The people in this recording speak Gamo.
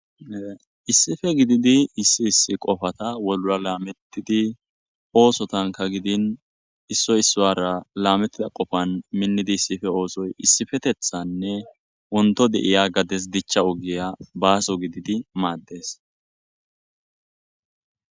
issife gididi issi issi qofata wolla laamettidi oosotanka gidin issoy isswara laamettida qofan minnidi issife oosoy issifetethanne wonto de7iya gades dichcha ogiya baaso gididi maaddes